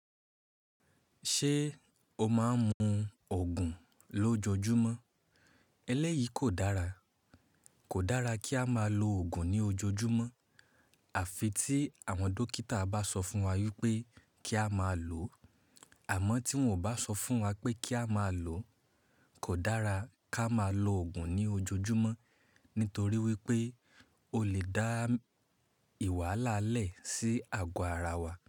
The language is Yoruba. Ṣé o máa ń mu òogùn lójoojúmọ́? Elẹ́yìí kò dára. Kò dára kí a máa lo òogùn ní ojoojúmọ́. Àfi tí àwọn dókítà bá sọ fún wa wípé kí a máa lòó. Àmọ́ tí wón ò bá sọ fún wa pé kí a máa lòó, kò dára kí a máa lo òogùn ní ojoojúmọ́. Nítorí wípé ó lè dá ì wàhala le si ago ara wa.